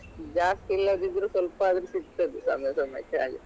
ಜಾಸ್ತಿ ಇಲ್ಲದ್ದಿದ್ರೂ ಸ್ವಲ್ಪ ಆದ್ರೂ ಸಿಗ್ತದೆ ಸಮಯ ಸಮಯಕ್ಕೆ ಹಾಗೆ.